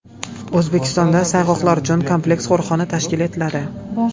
O‘zbekistonda sayg‘oqlar uchun kompleks qo‘riqxona tashkil etiladi.